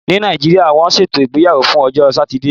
Ní Nàìjíríà, wọ́n ṣètò ìgbéyàwó fún ọjọ́ Satide.